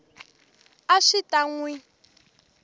a swi ta n wi